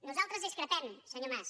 nosaltres discrepem senyor mas